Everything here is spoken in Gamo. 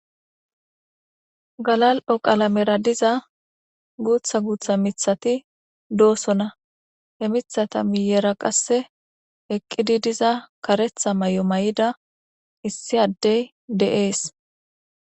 Galali"o qalamera diza guththa guththa miththati de"osona he miththata sinththara issi adey kareththa mayo mayidi de"es